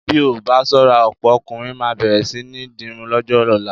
Bí a ò bá ṣọ́ra ọ̀pọ̀ ọkùnrin máa bẹ̀rẹ̀ sí ní dirun lọ́jọ́ ọ̀la.